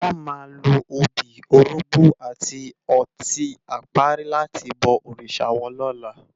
Wò má ló óbi, órógbò áti òtin àpári làti bò órisá wòn lòlá